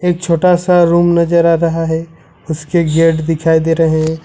एक छोटा सा रूम नजर आ रहा है उसके गेट दिखाई दे रहे हैं।